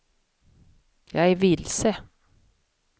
jag är vilse